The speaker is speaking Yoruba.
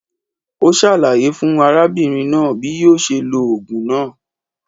Ó sàlàyé fún arábìnrin náà bí yíò se lo ògùn náà